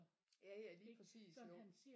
Ja ja lige præcis jo